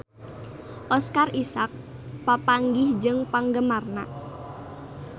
Oscar Isaac papanggih jeung penggemarna